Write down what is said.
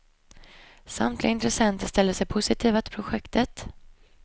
Samtliga intressenter ställde sig positiva till projektet.